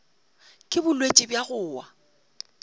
ke bolwetši bja go wa